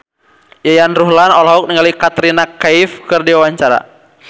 Yayan Ruhlan olohok ningali Katrina Kaif keur diwawancara